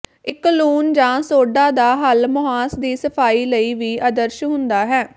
ਇੱਕ ਲੂਣ ਜਾਂ ਸੋਡਾ ਦਾ ਹੱਲ ਮੁਹਾਂਸ ਦੀ ਸਫਾਈ ਲਈ ਵੀ ਆਦਰਸ਼ ਹੁੰਦਾ ਹੈ